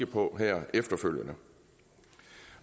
på her efterfølgende